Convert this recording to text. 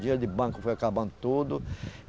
Dinheiro de banco foi acabando tudo.